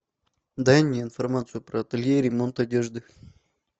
дай мне информацию про ателье и ремонт одежды